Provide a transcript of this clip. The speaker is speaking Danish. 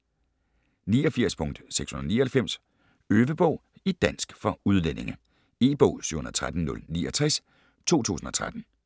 89.699 Øvebog i dansk for udlændinge E-bog 713069 2013.